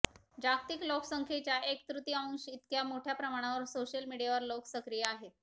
जागतिक लोकसंख्येच्या एक तृतीअंश इतक्या मोठ्या प्रमाणावर सोशल मिडीयावर लोक सक्रिय आहेत